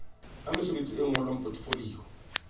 a mesebetsi e ngolwang potefoliyo